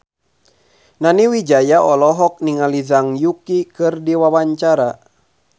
Nani Wijaya olohok ningali Zhang Yuqi keur diwawancara